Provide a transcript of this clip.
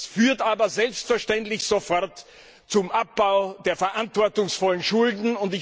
Das führt aber selbstverständlich sofort zum Abbau der verantwortungsvollen Schulden.